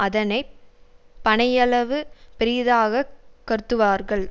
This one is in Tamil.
அதனை பனையளவு பெரிதாக கருத்துவார்கள்